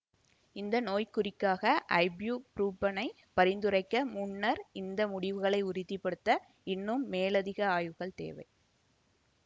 இந்த நோய்க்குறிக்காக ஐப்யூபுரூஃபனைப் பரிந்துரைக்க முன்னர் இந்த முடிவுகளை உறுதி படுத்த இன்னும் மேலதிக ஆய்வுகள் தேவை